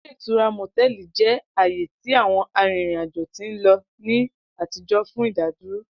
Ile itura motẹlì jẹ aaye ti àwọn arìrìn ajo ti nlo ni àtijọ́ fun ìdádúró.